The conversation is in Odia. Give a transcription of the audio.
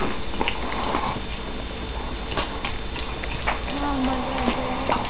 ହଁ ଭଲ enjoy ହୁଏ ଆଉ